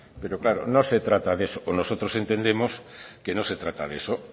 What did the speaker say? pero claro no se trata de eso o nosotros entendemos que no se trata de eso